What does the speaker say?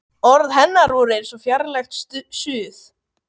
Orð hennar voru eins og fjarlægt suð.